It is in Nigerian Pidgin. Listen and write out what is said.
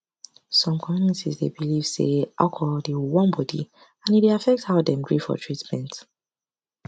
some communities dey believe say alcohol dey warm body and e dey affect how dem gree for treatment